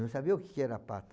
Não sabia o que que era pata.